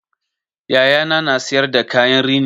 Yayana na siyar da kayan rini